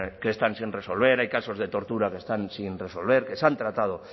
que están sin resolver hay casos de tortura que están sin resolver que se han tratado